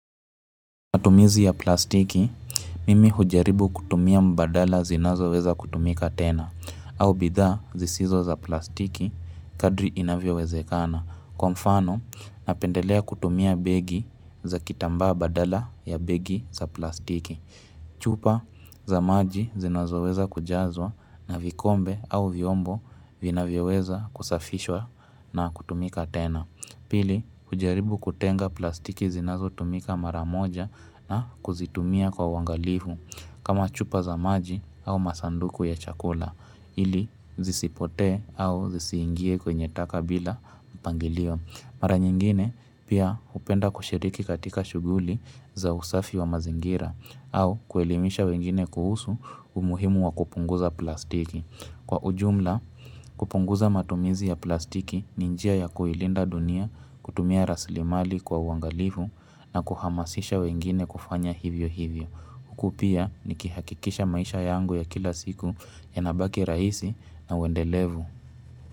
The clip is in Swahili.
Matumizi ya plastiki, mimi hujaribu kutumia mbadala zinazo weza kutumika tena au bidhaa zisizo za plastiki kadri inavyowezekana kwamfano napendelea kutumia begi za kitamba badala ya begi za plastiki chupa za maji zinazo weza kujazwa na vikombe au vyombo vinavyoweza kusafishwa na kutumika tena Pili, hujaribu kutenga plastiki zinazo tumika maramoja na kuzitumia kwa uangalifu kama chupa za maji au masanduku ya chakula ili zisipote au zisiingie kwenye taka bila mpangilio. Mara nyingine pia hupenda kushiriki katika shughuli za usafi wa mazingira au kuelimisha wengine kuhusu umuhimu wa kupunguza plastiki. Kwa ujumla, kupunguza matumizi ya plastiki ni njia ya kuilinda dunia kutumia rasilimali kwa uangalifu na kuhamasisha wengine kufanya hivyo hivyo. Hukupia ni kihakikisha maisha yangu ya kila siku yanabaki rahisi na uendelevu.